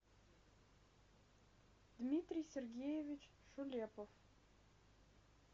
дмитрий сергеевич шулепов